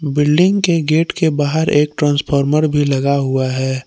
Building के gate के बाहर एक ट्रांसफार्मर भी लगा हुआ है।